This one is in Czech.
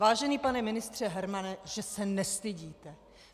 Vážený pane ministře Hermane, že se nestydíte!